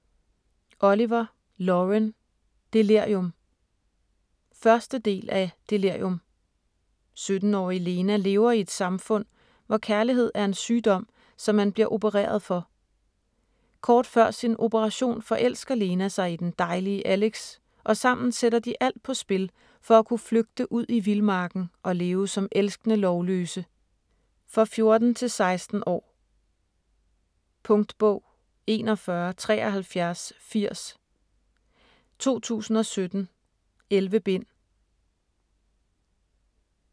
Oliver, Lauren: Delirium 1. del af Delirium. 17-årige Lena lever i et samfund, hvor kærlighed er en sygdom, som man bliver opereret for. Kort før sin operation forelsker Lena sig i den dejlige Alex og sammen sætter de alt på spil for at kunne flygte ud i vildmarken og leve som elskende lovløse. For 14-16 år. Punktbog 417380 2017. 11 bind.